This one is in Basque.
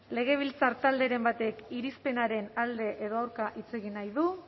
legebiltzar talderen batek irizpenaren alde edo aurka hitz egin nahi du